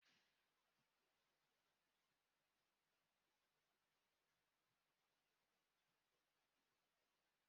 Ọ dị mfe ịnweta ego n'aka ụlọ akụ Microfinance karịa ụlọ akụ kọmasia.